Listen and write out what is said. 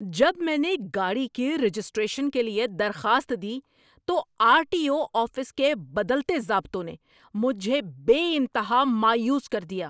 جب میں نے گاڑی کی رجسٹریشن کے لیے درخواست دی تو آر ٹی او آفس کے بدلتے ضابطوں نے مجھے بے انتہا مایوس کر دیا۔